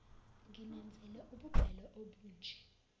nginenzele ububele obunje